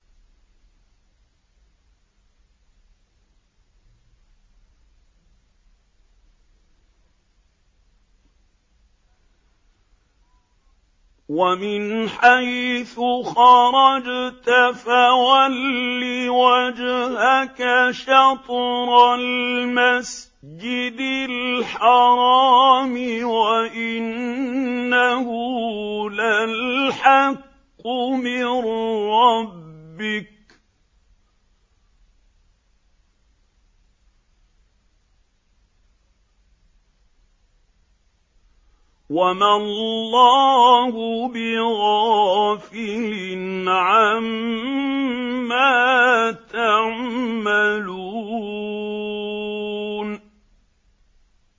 وَمِنْ حَيْثُ خَرَجْتَ فَوَلِّ وَجْهَكَ شَطْرَ الْمَسْجِدِ الْحَرَامِ ۖ وَإِنَّهُ لَلْحَقُّ مِن رَّبِّكَ ۗ وَمَا اللَّهُ بِغَافِلٍ عَمَّا تَعْمَلُونَ